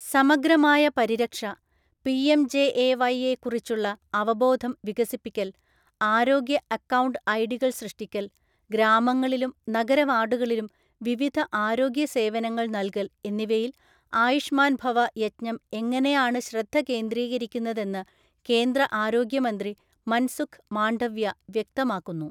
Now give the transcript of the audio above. സമഗ്രമായ പരിരക്ഷ, PM JAY യെക്കുറിച്ചുള്ള അവബോധം വികസിപ്പിക്കൽ, ആരോഗ്യ അക്കൗണ്ട് ഐഡികൾ സൃഷ്ടിക്കൽ, ഗ്രാമങ്ങളിലും നഗര വാർഡുകളിലും വിവിധ ആരോഗ്യ സേവനങ്ങൾ നൽകൽ എന്നിവയിൽ ആയുഷ്മാൻ ഭവ യജ്ഞം എങ്ങനെയാണു ശ്രദ്ധ കേന്ദ്രീകരിക്കുന്നതെന്നു കേന്ദ്ര ആരോഗ്യമന്ത്രി മൻസുഖ് മാണ്ഡവ്യ വ്യക്തമാക്കുന്നു.